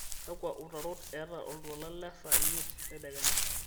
kakua utarot eeta oltuala le saa imiet tedekenya